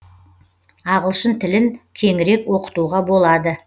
ағылшын тілін кеңірек оқытуға болады